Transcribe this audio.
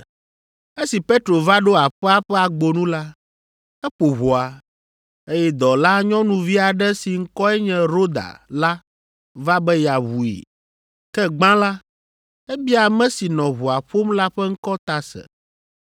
Esi Petro va ɖo aƒea ƒe agbonu la, eƒo ʋɔa, eye dɔlanyɔnuvi aɖe si ŋkɔe nye Roda la va be yeaʋui. Ke gbã la, ebia ame si nɔ ʋɔa ƒom la ƒe ŋkɔ ta se.